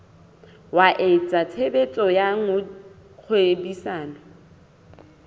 wa etsa tshebetso tsa kgwebisano